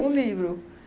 Um livro.